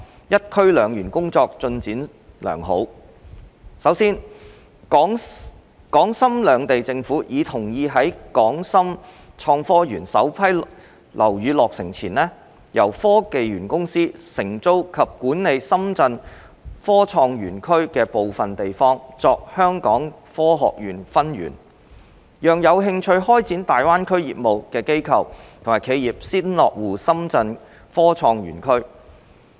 "一區兩園"工作進度良好：首先，港深兩地政府已同意在港深創科園首批樓宇落成前，由科技園公司承租及管理深圳科創園區的部分地方作香港科學園分園，讓有興趣開展大灣區業務的機構和企業先落戶深圳科創園區。